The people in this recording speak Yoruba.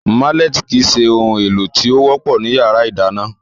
Málẹ̀tì kìí se ohun èlò tí ó wọ́pọ̀ ní yàrá ìdáná